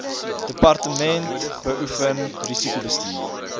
departement beoefen risikobestuur